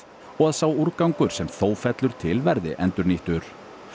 og að sá úrgangur sem þó fellur til verði endurnýttur